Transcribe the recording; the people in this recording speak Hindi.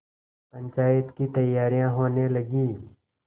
पंचायत की तैयारियाँ होने लगीं